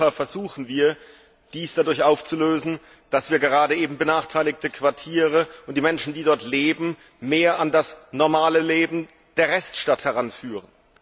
Überall in Europa versuchen wir, dies dadurch aufzulösen, dass wir gerade benachteiligte Quartiere und die Menschen, die dort leben, an das normale Leben der Reststadt heranführen.